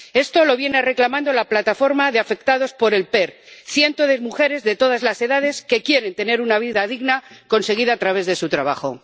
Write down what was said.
Esto lo viene reclamando la Plataforma de Afectados por el PER, cientos de mujeres de todas las edades que quieren tener una vida digna conseguida a través de su trabajo.